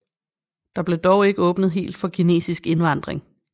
Der blev dog ikke åbnet helt for kinesisk indvandring